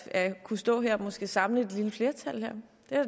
at kunne stå her og måske samle et lille flertal